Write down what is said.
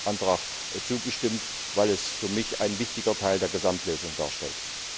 diesem Antrag zugestimmt, weil es für mich einen wichtigen Teil der Gesamtlösung darstellt.